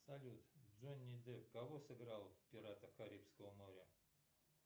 салют джонни депп кого сыграл в пиратах карибского моря